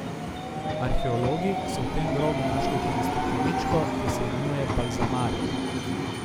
Arheologi so v tem grobu našli tudi stekleničko, ki se imenuje balzamarij.